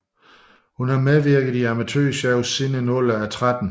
Hun har medvirket i amatør shows siden en alder af tretten